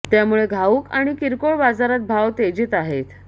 त्यामुळे घाऊक आणि किरकोळ बाजारात भाव तेजीत आहेत